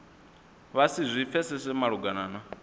vha si zwi pfesese malugana